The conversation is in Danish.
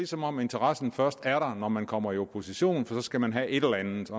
som om interessen først er der når man kommer i opposition for så skal man have et eller andet at